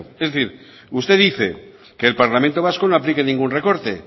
es decir usted dice que el parlamento vasco no aplique ningún recorte